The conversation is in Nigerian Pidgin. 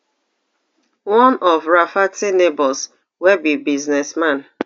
one of rafferty neighbors wey be business man